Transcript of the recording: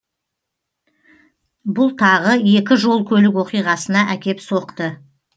бұл тағы екі жол көлік оқиғасына әкеп соқты